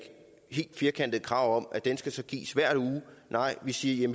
helt firkantet krav om at den så skal gives hver uge vi siger